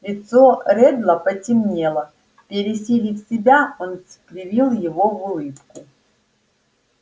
лицо реддла потемнело пересилив себя он скривил его в улыбку